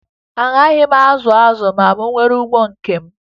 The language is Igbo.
Agaghị m azụ azụ ma m nwee ugbo nke m